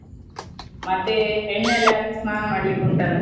ಮತ್ತೆ ಎಣ್ಣೆ ಎಲ್ಲ ಹಾಕಿ ಸ್ನಾನ ಮಾಡ್ಲಿಕ್ಕೆ ಉಂಟಲ್ಲ.